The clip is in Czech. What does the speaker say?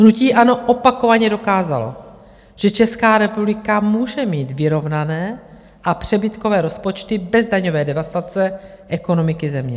Hnutí ANO opakovaně dokázalo, že Česká republika může mít vyrovnané a přebytkové rozpočty bez daňové devastace ekonomiky země.